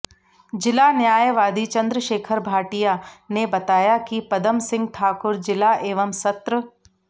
जिला न्यायवादी चंद्रशेखर भाटिया नेबताया कि पदम सिंह ठाकुर जिला एवं सत्र